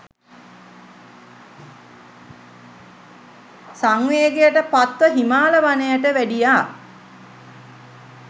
සංවේගයට පත්ව හිමාල වනයට වැඩියා.